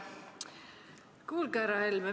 Kuulge, härra Helme!